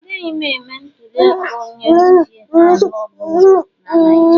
Agaghị m eme ntuli aka onye isi ala ọ bụla na Naijiria